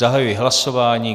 Zahajuji hlasování.